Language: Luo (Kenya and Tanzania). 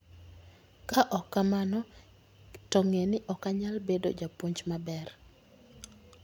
Ka ok kamano, to ng'e ni ok anyal bedo japuonj maber.